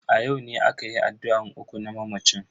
A yau ne akayi addu'an uku na mamacin.